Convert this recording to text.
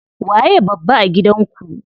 Waye babba a gidan ku?